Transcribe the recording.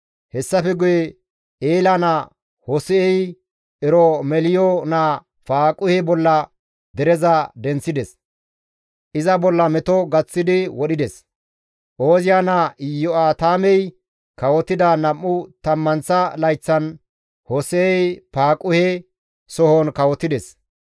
Hessafe guye Eela naa Hose7ey Eromeliyo naa Faaquhe bolla dereza denththides; iza bolla meto gaththidi wodhides; Ooziya naa Iyo7aatamey kawotida nam7u tammanththa layththan Hose7ey Faaquhe sohon kawotides.